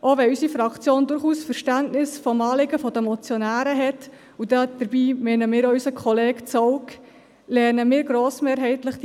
Auch wenn unsere Fraktion durchaus Verständnis für das Anliegen der Motionäre hat, und dabei meinen wir auch unseren Kollegen Zaugg, lehnen wir diese Motion grossmehrheitlich ab.